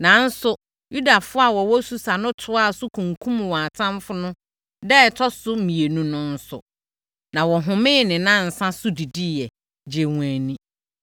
Nanso, Yudafoɔ a wɔwɔ Susa no toaa so kunkumm wɔn atamfoɔ no da a ɛtɔ so mmienu no nso, na wɔhomee ne nnansa so didiiɛ, gyee wɔn ani.